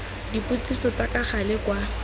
dipotsiso tsa ka gale kwa